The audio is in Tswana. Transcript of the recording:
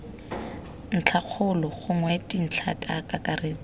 ntlhakgolo gongwe dintlhana ka kakaretso